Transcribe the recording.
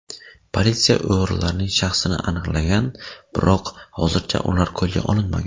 Politsiya o‘g‘rilarning shaxsini aniqlagan, biroq hozircha ular qo‘lga olinmagan.